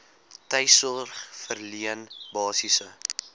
tuissorg verleen basiese